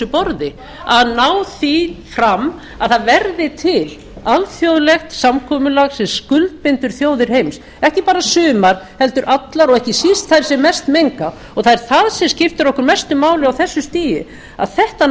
borði að ná því fram að það verði til alþjóðlegt samkomulag sem skuldbindur þjóðir heims ekki bara sumar heldur allar og ekki síst þær sem mest menga það er það sem skiptir okkur mestu máli á þessu stigi að þetta